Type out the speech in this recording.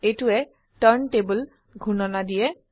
এইটোৱে turntable ঘূৰ্ণনা দিয়ে